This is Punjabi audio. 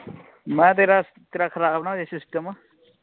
ਮੈਂ ਕਿਆ ਤੇਰਾ ਤੇਰਾ ਖਰਾਬ ਨਾ ਹੋ ਜਾਵੇ ਸਿਸਟਮ।